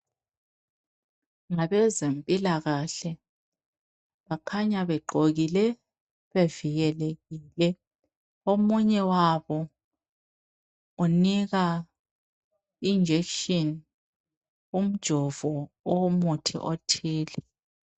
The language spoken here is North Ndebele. Ngabezempilakahle bakhanya begqokile bevijelekile omunye wabo unika injection umjovo owomuthi othile.